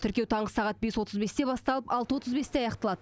тіркеу таңғы сағат бес отыз бесте басталып алты отыз бесте аяқталады